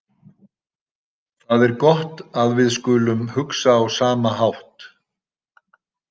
Það er gott að við skulum hugsa á sama hátt.